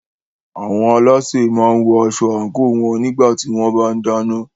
Àwọn alásè máa ń wọ aṣọ àńkò wọn nígbà tí wọ́n bá ń dáná.